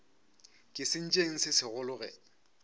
ke sentšeng se segolo ge